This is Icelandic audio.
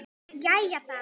Jæja þá.